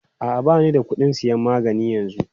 A'a, ba ni da kuɗin sayan magani yanzu.